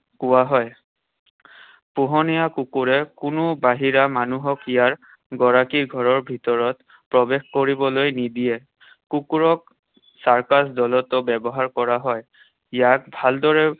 কোৱা হয়। পোহনীয়া কুকুৰে কোনো বাহিৰা মানুহক ইয়াৰ গৰাকীৰ ঘৰৰ ভিতৰত প্ৰৱেশ কৰিবলৈ নিদিয়ে। কুকুৰক circus দলতো ব্যৱহাৰ কৰা হয়। ইয়াক ভালদৰে